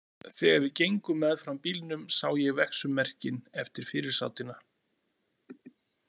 Þegar við gengum meðfram bílnum sá ég vegsummerkin eftir fyrirsátina.